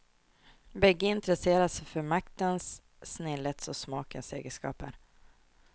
Bägge intresserar sig för maktens, snillets och smakens egenskaper.